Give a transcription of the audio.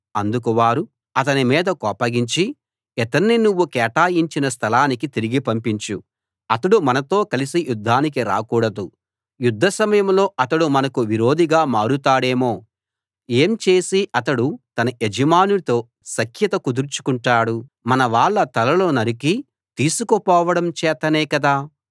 అందుకు వారు అతని మీద కోపగించి ఇతణ్ణి నువ్వు కేటాయించిన స్థలానికి తిరిగి పంపించు అతడు మనతో కలిసి యుద్ధానికి రాకూడదు యుద్ధ సమయంలో అతడు మనకు విరోధిగా మారతాడేమో ఏం చేసి అతడు తన యజమానితో సఖ్యత కుదుర్చుకుంటాడు మనవాళ్ళ తలలు నరికి తీసుకుపోవడం చేతనే కదా